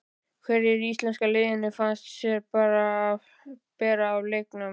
Hverjir í íslenska liðinu fannst þér bera af í leiknum?